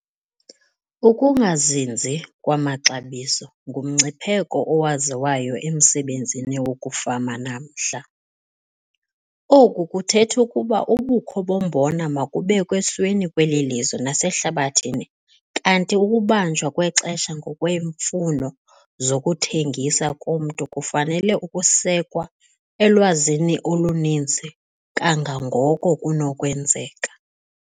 Ukungazinzi kwamaxabiso ngumngcipheko owaziwayo emsebenzini wokufama namhla. Oku kuthetha ukuba ubukho bombona mabubekw' esweni kweli lizwe nasehlabathini kanti ukubanjwa kwexesha ngokweemfuno zokuthengisa komntu kufanele ukusekwa elwazini oluninzi kangangoko kunokwenzeka.